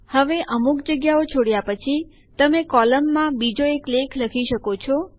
હવે અમુક જગ્યાઓ છોડ્યા પછી તમે કોલમમાં બીજો એક લેખ લખી શકો છો